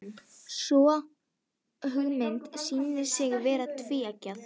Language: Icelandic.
Sú hugmynd sýnir sig vera tvíeggjaða.